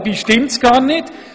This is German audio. Dabei stimmt es gar nicht: